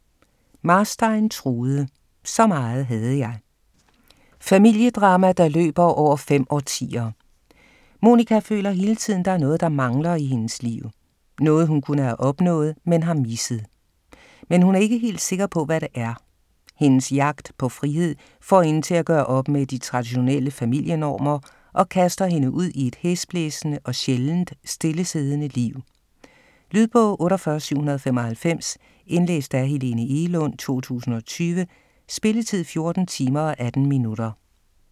Marstein, Trude: Så meget havde jeg Familiedrama der løber over fem årtier. Monika føler hele tiden der er noget, der mangler i hendes liv. Noget hun kunne have opnået, men har misset. Men hun er ikke helt sikker på hvad det er. Hendes jagt på frihed får hende til at gøre op med de traditionelle familienormer, og kaster hende ud i et hæsblæsende og sjældent stillesiddende liv. Lydbog 48795 Indlæst af Helene Egelund, 2020. Spilletid: 14 timer, 18 minutter.